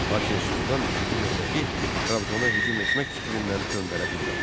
Lakin Sultan İkinci Mehmeti Trabzona hücum etmək fikrindən döndərə bilmədi.